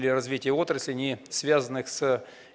для развитие отрасли не связанных с